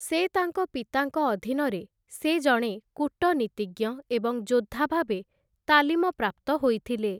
ସେ ତାଙ୍କ ପିତାଙ୍କ ଅଧୀନରେ, ସେ ଜଣେ କୂଟନୀତିଜ୍ଞ ଏବଂ ଯୋଦ୍ଧା ଭାବେ ତାଲିମ ପ୍ରାପ୍ତ ହୋଇଥିଲେ ।